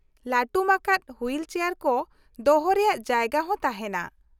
ᱞᱟᱹᱴᱩᱢ ᱟᱠᱟᱫ wheelchair ᱠᱚ ᱫᱚᱦᱚ ᱨᱮᱭᱟᱜ ᱡᱟᱭᱜᱟ ᱦᱚᱸ ᱛᱟᱦᱮᱱᱟ ᱾